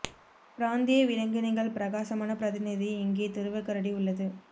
பிராந்திய விலங்கினங்கள் பிரகாசமான பிரதிநிதி இங்கே துருவ கரடி உள்ளது